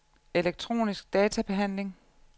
elektronisk databehandling